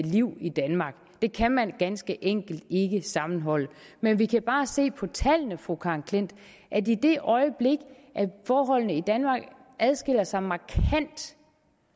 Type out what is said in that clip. liv i danmark det kan man ganske enkelt ikke sammenholde men vi kan bare se på tallene fru karen klint at i det øjeblik forholdene i danmark adskiller sig markant